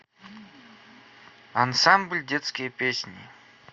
ансамбль детские песни